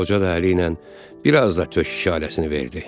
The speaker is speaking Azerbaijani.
Qoca da əli ilə biraz da tök işarəsini verdi.